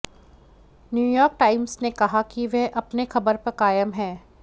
New York Times ने कहा कि वह अपने खबर पर कायम है